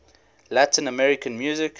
latin american music